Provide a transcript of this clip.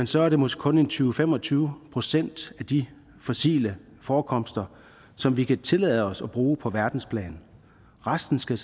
så er det måske kun tyve til fem og tyve procent af de fossile forekomster som vi kan tillade os at bruge på verdensplan resten skal